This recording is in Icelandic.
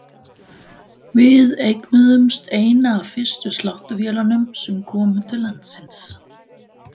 Við eignuðumst eina af fyrstu sláttuvélunum sem komu til landsins.